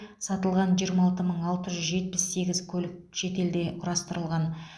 сатылған жиырма алты мың алтыз жүз жетпіс сегіз көлік шетелде құрастырылған